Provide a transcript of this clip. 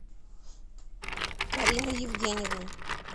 карину евгеньевну